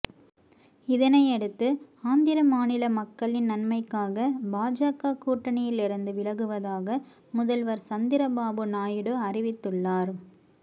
இதனையடுத்து ஆந்திர மாநில மக்களின் நன்மைக்காக பாஜக கூட்டணியில் இருந்து விலகுவதாக முதல்வர் சந்திரபாபு நாயுடு அறிவித்துள்ளார்